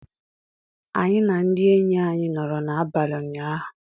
Anyị na ndị enyi anyị nọrọ n'abalị ụnyaahụ.